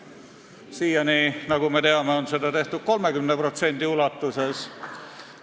Siiani, nagu me teame, on seda tehtud 30% ulatuses.